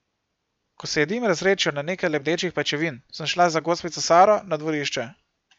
Ko se je dim razredčil na nekaj lebdečih pajčevin, sem šla za gospico Saro na dvorišče.